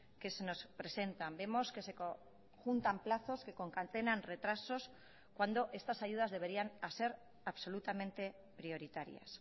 que se nos presentan vemos que se juntan plazos que concatenan retrasos cuando estas ayudas deberían ser absolutamente prioritarias